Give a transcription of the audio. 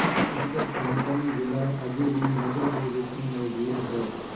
ਉਸ ਦਾ ਖ਼ਾਨਦਾਨੀ ਵਿਲਾ ਅਜੇ ਵੀ ਮਧੁਰਪੁਰ ਵਿੱਚ ਮੌਜੂਦ ਹੈ